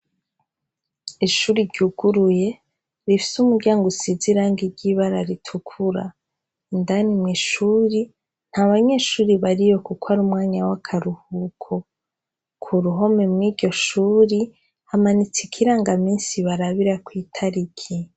Ishuri ryuguruye rifise umuryango usize irangi ry'ibara ritukura. Indani mw' ishuri nta banyeshuri bariyo kuko ari umwanya w'akaruhuko. Ku ruhome mw'iryo shuri hamanitse ikirangaminsi barabirako itariki.